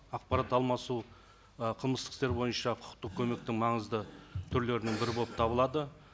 ақпарат алмасу ы қылмыстық істер бойынша құқықтық көмектің маңызды түрлерінің бірі болып табылады